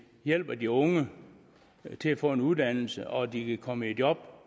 hjælper de unge til at få en uddannelse og de kan komme i job